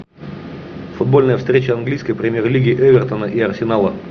футбольная встреча английской премьер лиги эвертона и арсенала